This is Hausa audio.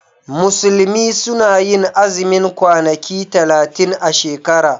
Musulmi suna yin azumin kwanaki talatin a shekara.